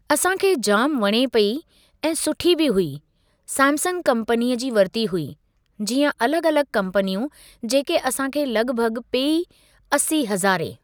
असां खे जाम वणे पेई ऐं सुठी बि हुई, सैमसंग कम्पनीअ जी वरती हुई, जीअं अलॻ अलॻ कम्पनियूं, जेके असां खे लॻभॻ पेई असी हज़ारे।